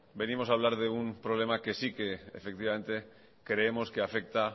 venimos a hablar de un problema que sí que efectivamente creemos que afecta